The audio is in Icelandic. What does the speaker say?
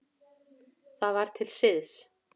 Það var til siðs.